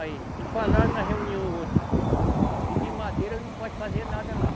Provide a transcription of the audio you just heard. Aí, eles falaram na reunião outra que de madeira não pode fazer nada lá.